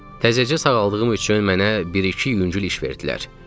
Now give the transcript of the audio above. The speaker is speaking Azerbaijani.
Təzəcə sağaldığım üçün mənə bir-iki yüngül iş verdilər.